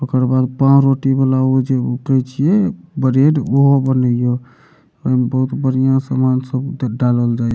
ओकर बाद पावरोटी वाला उ जे उ उठे छिए ब्रेड उहो बने ये ए मे बहुत बढ़िया सामान सब दे डालल जाय ये।